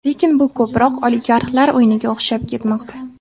Lekin bu ko‘proq oligarxlar o‘yiniga o‘xshab ketmoqda.